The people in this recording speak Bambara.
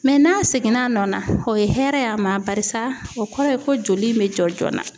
n'a segin na nɔ na, o ye hɛrɛ ye a ma barisa o kɔrɔ ye ko joli in be jɔ joona.